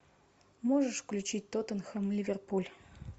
можешь включить тоттенхэм ливерпуль